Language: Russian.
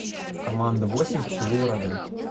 команда восемь в тылу врага